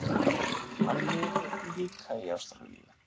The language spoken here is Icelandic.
Hann lifir líka í Ástralíu.